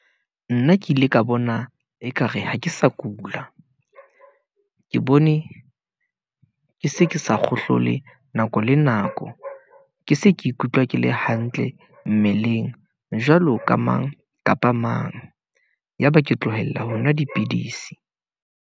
Nna ke ile ka bona ekare ha ke sa kula , ke bone , ke se ke sa kgohlola nako le nako, ke se ke ikutlwa ke le hantle mmeleng, jwalo ka mang kapa mang , yaba ke tlohela ho nwa dipidisi.